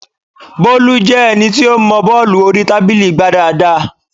Bólú jẹ́ ẹni tí ó mọọ bọ́ọ̀lù orí tábìlì gbá dáadáa